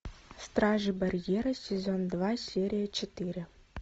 стражи барьера сезон два серия четыре